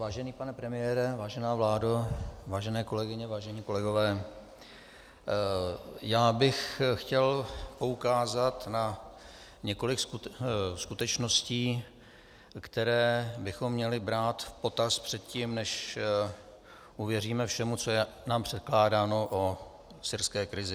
Vážený pane premiére, vážená vládo, vážené kolegyně, vážení kolegové, já bych chtěl poukázat na několik skutečností, které bychom měli brát v potaz předtím, než uvěříme všemu, co je nám předkládáno o syrské krizi.